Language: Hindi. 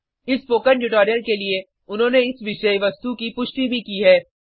इस स्पोकन ट्यूटोरियल के लिए उन्होंने इस विषय वस्तु की पुष्टि भी की है